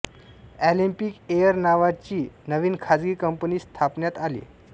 Olympic Air नावाची नवीन खाजगी कंपनी स्थापन्यात आली